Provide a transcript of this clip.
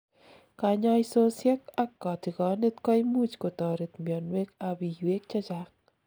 kanyaisosiek ak kotigonet koimuch kotoret mionwek ap iywek chechang